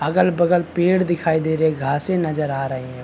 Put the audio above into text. अगल वगल पेड़ दिखाई दे रहे है घासे नजर आ रहे है।